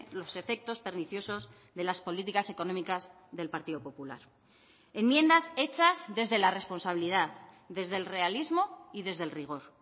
los efectos perniciosos de las políticas económicas del partido popular enmiendas hechas desde la responsabilidad desde el realismo y desde el rigor